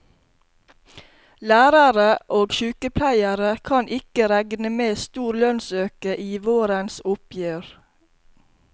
Lærarar og sjukepleiarar kan ikkje rekne med stor lønsauke i vårens oppgjer.